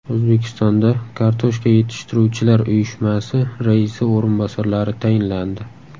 O‘zbekistonda Kartoshka yetishtiruvchilar uyushmasi raisi o‘rinbosarlari tayinlandi.